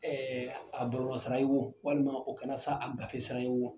Ɛɛ a boroma sira ye wo walima o kɛra sa a gafe sira ye wo